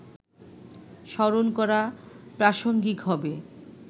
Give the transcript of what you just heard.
স্মরণ করা প্রাসঙ্গিক হবে